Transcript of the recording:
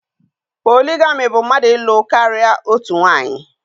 Poligami bụ mmadụ ịlụ karịa otu onye